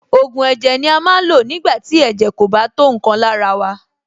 Ògùn ẹ̀jẹ̀ ni a máa ń lò nígbà tí ẹ̀jẹ̀ kò bá tó nǹkan lára wa.